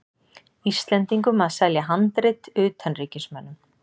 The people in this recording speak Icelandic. Íslendingum að selja handrit utanríkismönnum.